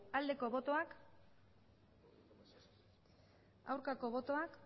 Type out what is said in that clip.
aldeko botoak aurkako botoak